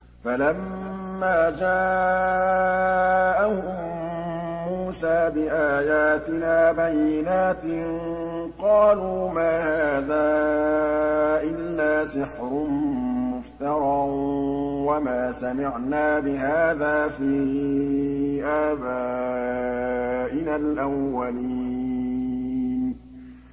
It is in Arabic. فَلَمَّا جَاءَهُم مُّوسَىٰ بِآيَاتِنَا بَيِّنَاتٍ قَالُوا مَا هَٰذَا إِلَّا سِحْرٌ مُّفْتَرًى وَمَا سَمِعْنَا بِهَٰذَا فِي آبَائِنَا الْأَوَّلِينَ